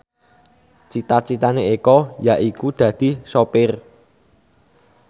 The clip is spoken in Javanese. cita citane Eko yaiku dadi sopir